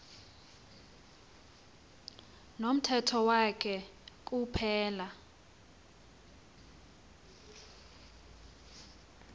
nomthetho wakhe kuphela